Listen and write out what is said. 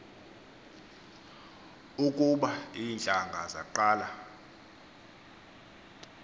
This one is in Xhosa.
ukuba iintlanga zaqala